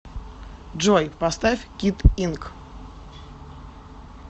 джой поставь кид инк